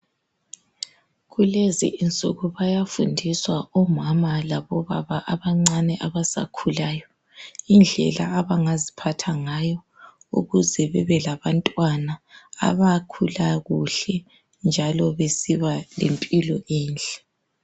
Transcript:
Kulezi insuku bayafundiswa omama labobaba abancane abasakhulayo indlela abangaziphatha ngayo ukuze bebelabantwana abakhula kuhle njalo besiba lempilo enhle.